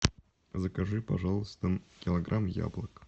закажи пожалуйста килограмм яблок